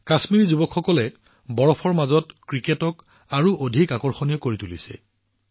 কাশ্মীৰী যুৱকসকলে বৰফত ক্ৰিকেটক আৰু অধিক আশ্চৰ্যজনক কৰি তোলে